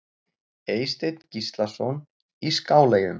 Eysteinn Gíslason í Skáleyjum